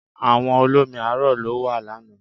Àwọ̀ olómi arò ló wọ̀ lànà